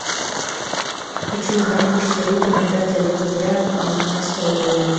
хочу узнать курс валюты на пятое декабря девятнадцатого года